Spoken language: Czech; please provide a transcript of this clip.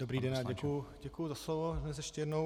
Dobrý den a děkuji za slovo dnes ještě jednou.